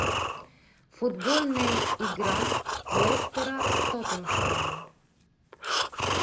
футбольная игра лестера с тоттенхэмом